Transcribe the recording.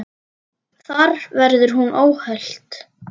Þar verði hún óhult.